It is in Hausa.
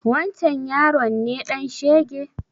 Wancen yaron ne ɗan shege?